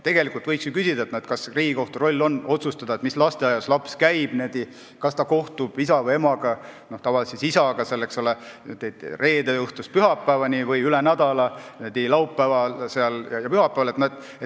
Tegelikult võiks ju küsida, kas Riigikohtu roll on otsustada, mis lasteaias laps käib, kas ta kohtub isa või emaga – tavaliselt isaga, eks ole – reede õhtust pühapäevani või üle nädala laupäeval ja pühapäeval.